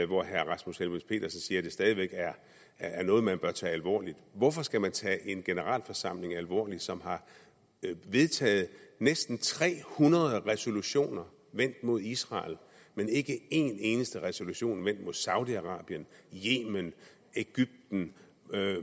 hvor herre rasmus helveg petersen siger at det stadig væk er noget man bør tage alvorligt hvorfor skal man tage en generalforsamling alvorligt som har vedtaget næsten tre hundrede resolutioner vendt mod israel men ikke en eneste resolution vendt mod saudi arabien yemen egypten